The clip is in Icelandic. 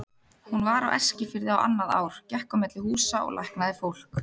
Hún var á Eskifirði á annað ár, gekk á milli húsa og læknaði fólk.